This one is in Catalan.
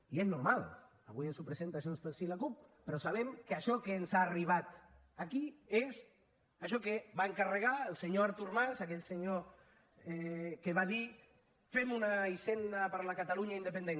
i és normal avui ens ho presenten junts pel sí i la cup però sabem que això que ens ha arribat aquí és això que va encarregar el senyor artur mas aquell senyor que va dir fem una hisenda per a la catalunya independent